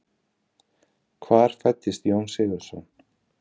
Hvar fæddist Jón Sigurðsson?